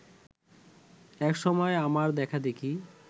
এক সময় আমার দেখাদেখি